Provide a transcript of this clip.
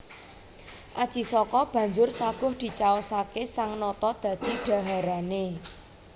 Aji Saka banjur saguh dicaosaké sang nata dadi dhaharané